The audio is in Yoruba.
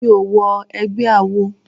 Mi ò wọ egbẹ́ awo.